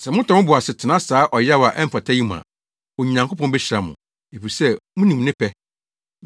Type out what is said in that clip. Sɛ motɔ mo bo ase tena saa ɔyaw a ɛmfata yi mu a, Onyankopɔn behyira mo, efisɛ munim ne pɛ.